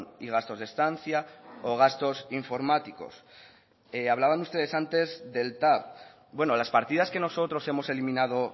y gastos de estancia o gastos informáticos hablaban ustedes antes del tav bueno las partidas que nosotros hemos eliminado